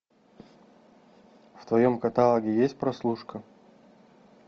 в твоем каталоге есть прослушка